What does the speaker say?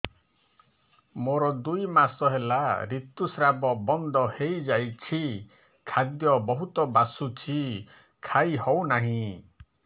ମୋର ଦୁଇ ମାସ ହେଲା ଋତୁ ସ୍ରାବ ବନ୍ଦ ହେଇଯାଇଛି ଖାଦ୍ୟ ବହୁତ ବାସୁଛି ଖାଇ ହଉ ନାହିଁ